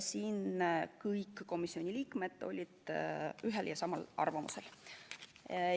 Kõik komisjoni liikmed olid ühel ja samal arvamusel.